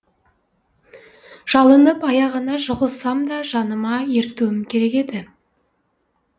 жалынып аяғына жығылсам да жаныма ертуім керек еді